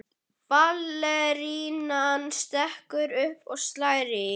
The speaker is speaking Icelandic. Ballerínan stekkur upp og slær í.